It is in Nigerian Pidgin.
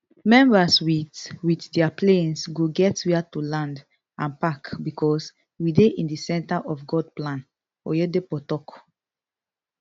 members wit wit dia planes go get wia to land and park becos we dey in di centre of god plan oyedepo tok